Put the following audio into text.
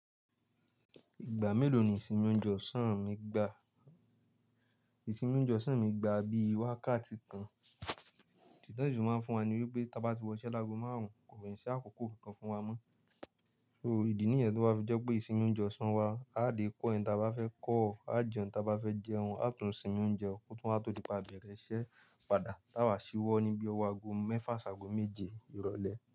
Ìgbà mélòó ni ìsìnmi oúnjẹ ọ̀sán mi gbà? Ìsìnmi oúnjẹ ọ̀sán mi gbà bí i wákàtí kan. Ìdí tan si fi máa ń fún wa níwé pé, tí a bá ti wọ iṣẹ́ lágo márùn-ún, kò kin ṣi àkókò kankan fún wa mọ́. So, ìdí nìyẹn tó bá fi jẹ́ pé ìsìnmi oúnjẹ ọ̀sán wa, a dè call ẹni tí a bá fẹ́ call, a ó jẹun tí a bá fẹ́ jẹun, a ó tún sìnmi oúnjẹ kùtù wá tó di pé a bẹ̀rẹ̀ iṣẹ́ padà. Táwà síwọ́ ní bí i ọwọ́ ago mẹ́fà ṣágo méje ìrọ̀lẹ́.